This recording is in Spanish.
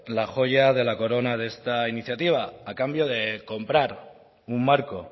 la joya de la corona de esta iniciativa a cambio de comprar un marco